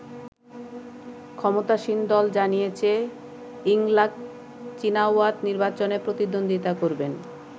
ক্ষমতাসীন দল জানিয়েছে ইংলাক চীনাওয়াত নির্বাচনে প্রতিদ্বন্দ্বিতা করবেন।